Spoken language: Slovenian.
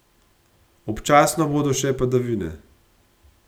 Občasno bodo še padavine.